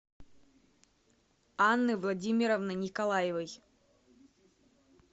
анны владимировны николаевой